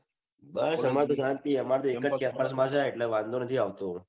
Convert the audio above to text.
બસ આમાર તો શાંતિ આમર તો એમજ campus માં જાય તો વાંઘો નથી આવતો